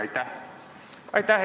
Aitäh!